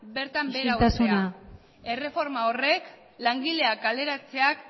bertan behera uztea isiltasuna erreforma horrek langileak kaleratzeak